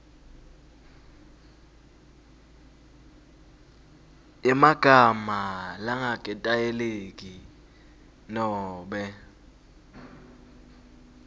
yemagama langaketayeleki nobe